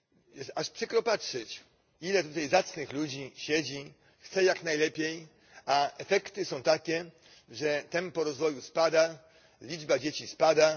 Jest aż przykro patrzeć, ile tutaj zacnych ludzi siedzi, chce jak najlepiej, a efekty są takie, że tempo rozwoju spada, liczba dzieci spada.